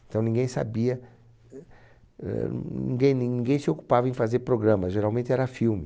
Então ninguém sabia, eh, ninguém ninguém se ocupava em fazer programa, geralmente era filme.